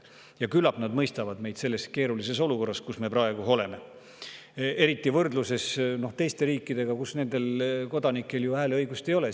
Ja küllap nad mõistavad, et me oleme praegu sellises keerulises olukorras, eriti võrdluses teiste riikidega, kus nendel kodanikel ju hääleõigust ei ole.